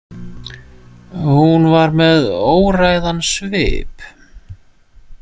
Hún var með óræðan svip.